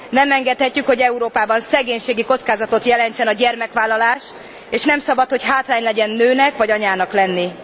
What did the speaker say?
Nem engedhetjük, hogy Európában szegénységi kockázatot jelentsen a gyermekvállalás, és nem szabad, hogy hátrány legyen nőnek, vagy anyának lenni.